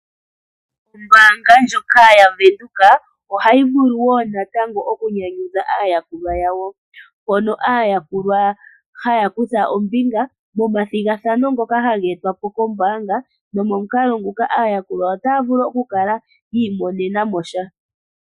Ombaanga yaVenduka ohayi vulu okunyanyudha aayakulwa yawo. Ohaa kutha ombinga momathigathano ngono haga etwa po kombanga oyo tuu ndjika opo ya vule yi isindanene sha.